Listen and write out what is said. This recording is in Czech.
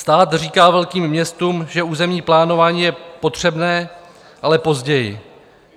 "Stát říká velkým městům, že územní plánování je potřebné, ale později.